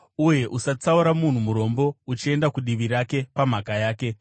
uye usatsaura munhu murombo uchienda kudivi rake pamhaka yake.